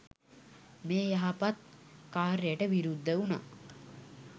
මේ යහපත් කාර්යට විරුද්ධවුනා.